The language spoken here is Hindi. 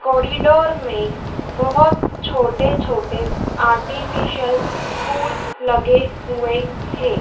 कॉरिडोर में बहुत छोटे छोटे आर्टिफिशियल फूल लगे हुए हैं।